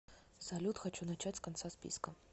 салют хочу начать с конца списка